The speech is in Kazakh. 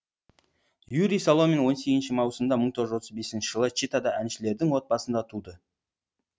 юрий соломин он сегізінші маусымда мың тоғыз жүз отыз бесінші жылы читада әншілердің отбасында туды